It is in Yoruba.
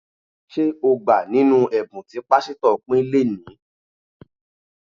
Ṣé o gbà nínú ẹ̀bùn tí pásítọ̀ pín léẹ̀ní?